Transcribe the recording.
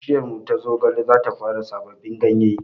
Bishiyarmu ta zogale zata fara sababbin ganye